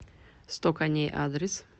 сто коней адрес